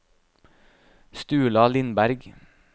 Sturla Lindberg